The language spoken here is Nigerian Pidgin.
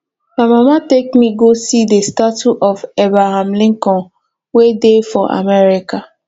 my mama take me go see the statue of abraham lincoln wey dey for america